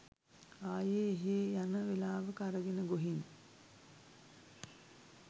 ආයේ එහෙ යන වෙලාවක අරගෙන ගොහින්